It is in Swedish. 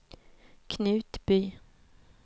Knutby